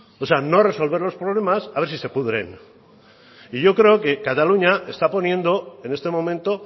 o sea o resolver los problemas a ver si se pudren yo creo que cataluña está poniendo en este momento